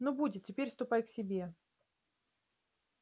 ну будет теперь ступай к себе